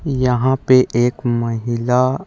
यहाँ पे एक महिला --